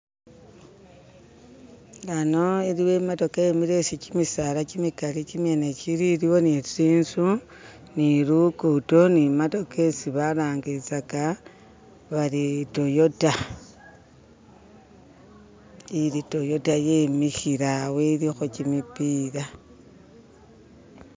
Hano iliwo imatoka yimile isi kimisala kimikali kimyene kili iliwo ni tsinzu ni lukuto ni matoka isi balangizaka bari toyota ili toyota yimikhile awo ilikho shimipila